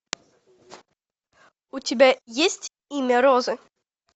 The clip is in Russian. у тебя есть имя розы